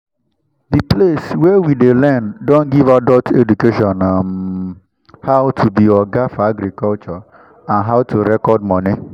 the place wey we dey learn don give adult education on um how to be oga for agriculture and how to record money